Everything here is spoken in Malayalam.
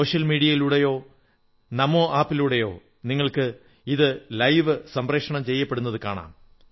സോഷ്യൽ മീഡിയയിലൂടെയോ നമോ ആപ് ലൂടെയോ നിങ്ങൾക്ക് ഇത് തൽസമയം സംപ്രേഷണം ചെയ്യുന്നത് കാണാം